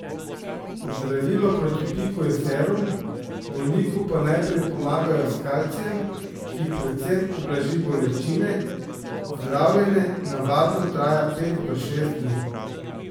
Zdravilo proti piku je serum, bolniku pa najprej pomagajo s kalcijem, ki predvsem ublaži bolečine, zdravljenje navadno traja pet do šest dni.